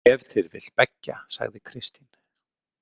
Ef til vill beggja, sagði Kristín.